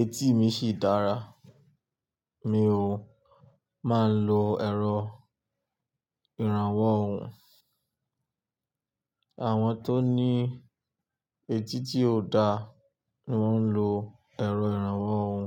etí mi sì dára. Mi ò máa ń lo èrò ìrànwọ́ òhún. Àwọn tó ní etí tí ò da ni wọ́n ń lo èrò ìrànwọ́ òhún.